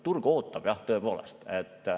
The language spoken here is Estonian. Turg aga ootab jah, tõepoolest.